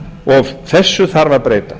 og þessu þarf að breyta